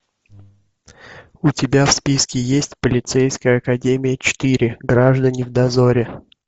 у тебя в списке есть полицейская академия четыре граждане в дозоре